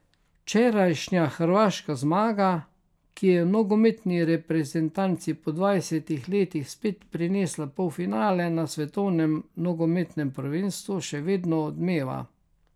Včerajšnja hrvaška zmaga, ki je nogometni reprezentanci po dvajsetih letih spet prinesla polfinale na svetovnem nogometnem prvenstvu še vedno odmeva.